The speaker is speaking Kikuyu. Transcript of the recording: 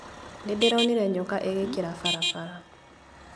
Nĩndĩronire nyoka ĩgĩkĩra barabara